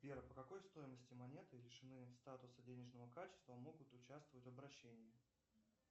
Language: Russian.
сбер по какой стоимости монеты лишены статуса денежного качества могут участвовать в обращении